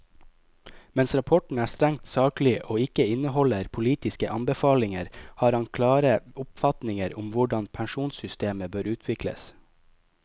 Mens rapporten er strengt saklig og ikke inneholder politiske anbefalinger, har han klare oppfatninger om hvordan pensjonssystemer bør utvikles.